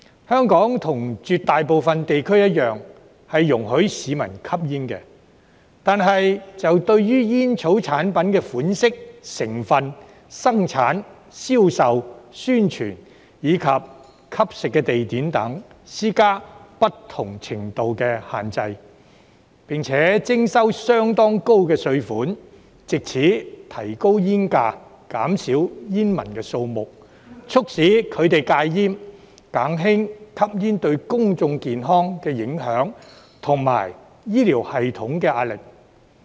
香港與絕大部分地區一樣，容許市民吸煙，但對煙草產品的款式、成分、生產、銷售、宣傳及吸食地點等，施加不同程度的限制，並徵收相當高的稅款，藉此提高煙價，減少煙民數目，促使他們戒煙，減輕吸煙對公眾健康的影響及醫療系統的壓力。